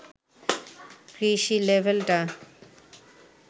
কৃষি লেভেলটা